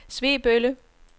Svebølle